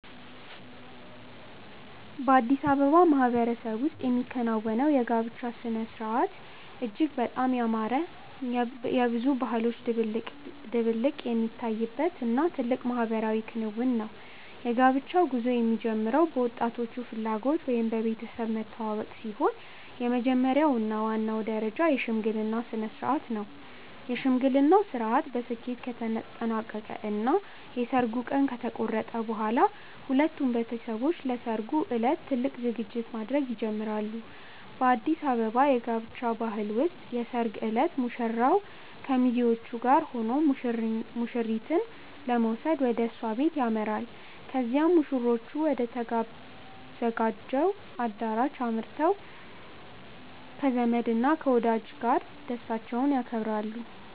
በአዲስ አበባ ማህበረሰብ ውስጥ የሚከናወነው የጋብቻ ሥርዓት እጅግ በጣም ያማረ፣ የብዙ ባህሎች ድብልቅነት የሚታይበት እና ትልቅ ማህበራዊ ክንውን ነው። የጋብቻው ጉዞ የሚጀምረው በወጣቶቹ ፍላጎት ወይም በቤተሰብ መተዋወቅ ሲሆን፣ የመጀመሪያው እና ዋናው ደረጃ የሽምግልና ሥርዓት ነው። የሽምግልናው ሥርዓት በስኬት ከተጠናቀቀ እና የሰርጉ ቀን ከተቆረጠ በኋላ፣ ሁለቱም ቤተሰቦች ለሠርጉ ዕለት ትልቅ ዝግጅት ማድረግ ይጀምራሉ። በአዲስ አበባ የጋብቻ ባህል ውስጥ የሰርግ ዕለት ሙሽራው ከሚዜዎቹ ጋር ሆኖ ሙሽሪትን ለመውሰድ ወደ እሷ ቤት ያመራል። ከዚያም ሙሽሮቹ ወደ ተዘጋጀው አዳራሽ አምርተው ከዘመድ እና ከወዳጅ ጋር ደስታቸውን ያከብራሉ።